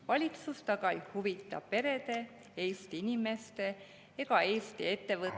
Valitsust aga ei huvita perede, Eesti inimeste ega Eesti ettevõtete …